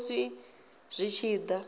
shishi musi zwi tshi da